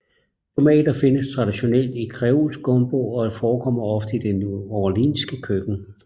Tomater findes traditionelt i kreolsk gumbo og forekommer ofte i det neworleanske køkken